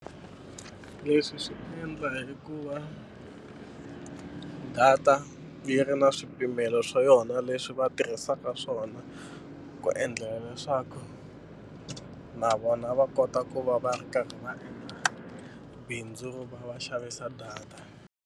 Leswi swi endla hi ku va data yi ri na swipimelo swa yona leswi va tirhisaka swona ku endlelela leswaku na vona va kota ku va va ri karhi va endla bindzu ro va va xavisa data.